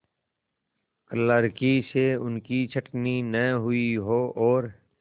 क्लर्की से उनकी छँटनी न हुई हो और